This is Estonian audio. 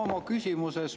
Ma oma küsimuses …